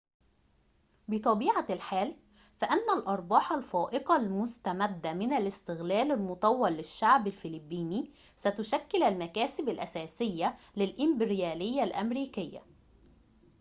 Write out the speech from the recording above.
بطبيعة الحال فإن الأرباح الفائقة المستمدة من الاستغلال المطول للشعب الفلبيني ستشكل المكاسب الأساسية للإمبريالية الأمريكية